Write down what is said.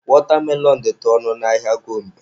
Wọtamelọn dịtụ ọnụ ala n'ahịa Gombe.